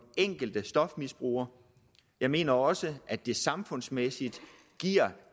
enkelte stofmisbruger jeg mener også at det samfundsmæssigt giver